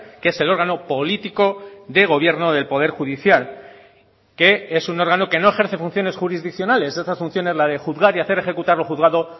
que es el órgano político de gobierno del poder judicial que es un órgano que no ejerce funciones jurisdiccionales esas funciones la de juzgar y hacer ejecutar lo juzgado